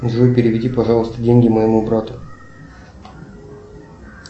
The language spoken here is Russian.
джой переведи пожалуйста деньги моему брату